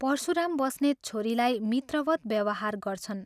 परशुराम बस्नेत छोरीलाई मित्रवत् व्यवहार गर्छन्।